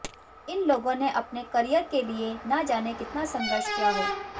इन लोगों ने अपने कॅरिअर के लिए न जाने कितना संघर्ष किया हो